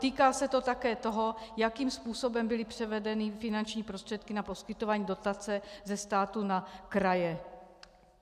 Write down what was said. Týká se to také toho, jakým způsobem byly převedeny finanční prostředky na poskytování dotace ze státu na kraje.